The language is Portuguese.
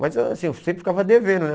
Mas assim, eu sempre ficava devendo, né?